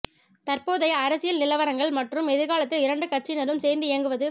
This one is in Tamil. தற்போதைய அரசியல் நிலவரங்கள் மற்றும் எதிர்காலத்தில் இரண்டு கட்சியினரும் சேர்ந்து இயங்குவது